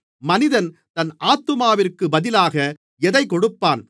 மனிதன் தன் ஆத்துமாவிற்கு பதிலாக எதைக் கொடுப்பான்